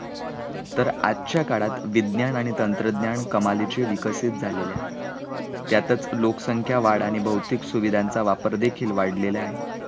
तर आजच्या काळात विज्ञान आणि तंत्रज्ञान कमालीचे विकसित झालेली आहे, त्यातच लोकसंख्या वाढ आणि भौतिक सुविधांचा वापर देखील वाढला आहे